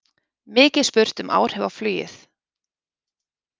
Mikið spurt um áhrif á flugið